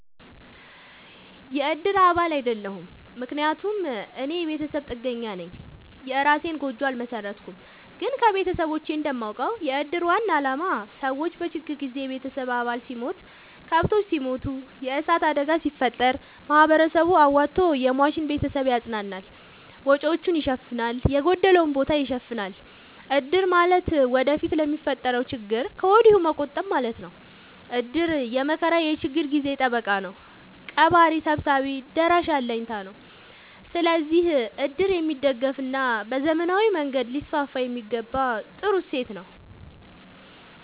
የእድር አባል አይደለሁም። ምክንያቱም እኔ የቤተሰብ ጥገኛነኝ የእራሴን ጎጆ አልመሠረትኩም። ግን ከቤተሰቦቼ እንደማውቀው። የእድር ዋናው አላማ ሰዎች በችግር ጊዜ የቤተሰብ አባል ሲሞት፤ ከብቶች ሲሞቱ፤ የዕሳት አደጋ ሲፈጠር፤ ማህበረሰቡ አዋቶ የሟችን ቤተሰብ ያፅናናል፤ ወጪወቹን ይሸፋናል፤ የጎደለውን ቦታ ይሸፋናል። እድር ማለት ወደፊት ለሚፈጠረው ችግር ከወዲሁ መቆጠብ ማለት ነው። እድር የመከራ የችግር ጊዜ ጠበቃ ነው። ቀባሪ ሰብሳቢ ደራሽ አለኝታ ነው። ስለዚህ እድር የሚደገፋና በዘመናዊ መንገድ ሊስስፋየሚገባው ጥሩ እሴት ነው።